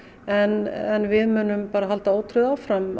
en við munum halda ótrauð áfram